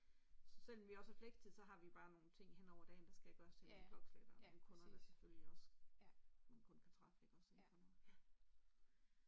Så selom vi også har flextid så har vi bare nogle ting henover dagen der skal gøres på bestemt klokkeslæt og nogle kunder der selfølgelig også man kun kan træffe nogle kunder der inde for noget ja